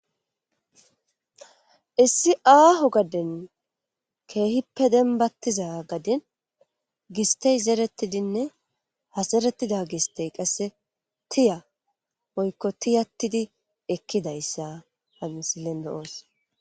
issi aaho gaden keehippe denbattiza gadin gistey zeerettidinne ha zeretida gistey qasse tiya oykko tiyattidi ekkidayssa hansilendo7oos